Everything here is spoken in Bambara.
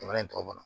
Jamana in tɔw ma